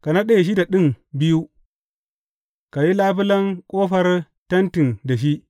Ka naɗe shida ɗin biyu, ka yi labulen ƙofar tentin da shi.